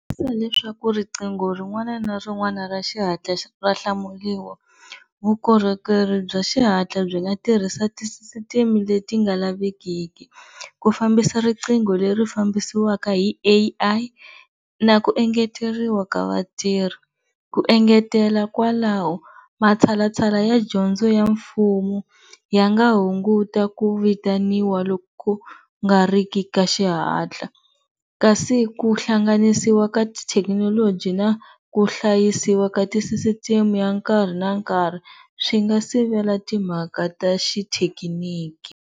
Leswaku riqingho rin'wana na rin'wana ra xihatla ra hlamuriwa vukorhokeri bya xihatla byi nga tirhisa tisisiteme leti nga lavekeki, ku fambisa riqingho leri fambisiwaka hi A_I na ku engeteriwa ka vatirhi, ku engetela kwalaho matshalatshala ya dyondzo ya mfumo ya nga hunguta ku vitaniwa loko ku nga riki ka xihatla, kasi ku hlanganisiwa ka tithekinoloji na ku hlayisiwa ka tisisiteme ya nkarhi na nkhari swi nga sivela timhaka ta xithekiniki.